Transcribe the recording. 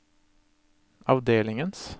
avdelingens